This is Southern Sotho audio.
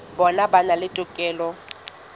bona ba na le tokelo